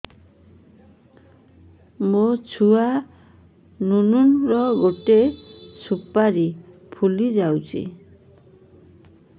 ମୋ ଛୁଆ ନୁନୁ ର ଗଟେ ସୁପାରୀ ଫୁଲି ଯାଇଛି